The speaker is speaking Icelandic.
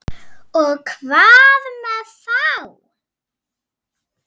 Og hvað með þá?